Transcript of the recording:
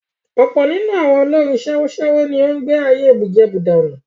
Ọ̀pọ̀ nínú àwọn olórin sèwọ́sèwọ́ ni ó ń gbé ayé bùjẹbùdànù.